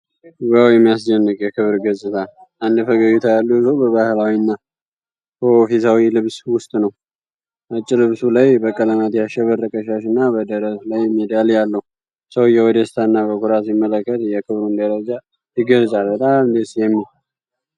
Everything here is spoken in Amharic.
ዋው፣ የሚያስደንቅ የክብር ገጽታ! አንድ ፈገግታ ያለው ሰው በባህላዊ እና በኦፊሴላዊ ልብስ ውስጥ ነው። ነጭ ልብሱ ላይ በቀለማት ያሸበረቀ ሻሽ እና በደረት ላይ ሜዳሊያ አለው። ሰውየው በደስታና በኩራት ሲመለከት፣ የክብሩን ደረጃ ይገልጻል። በጣም ደስ የሚል!